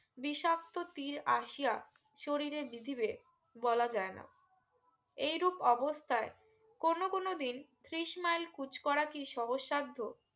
বিষাক্ত তীর আসিয়া শরীলে বিঁধিবে বলা যায় না এইরূপ অবস্থায় কোন কোন দিন ত্রিশ মেইল কুচ করাতি কি সহজসাদ্ধ